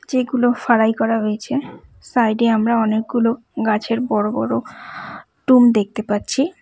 যেগুলো ফাড়াই করা হয়েছে সাইড -এ আমরা অনেকগুলো গাছের বড় বড় টুম দেখতে পাচ্ছি।